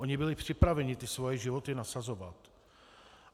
Oni byli připraveni ty svoje životy nasazovat.